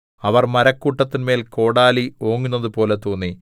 അവർ മരക്കൂട്ടത്തിന്മേൽ കോടാലി ഓങ്ങുന്നതുപോലെ തോന്നി